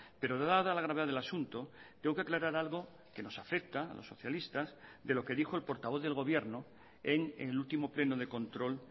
pero dada la gravedad del asunto tengo que aclarar algo que nos afecta a los socialistas de lo que dijo el portavoz del gobierno en el último pleno de control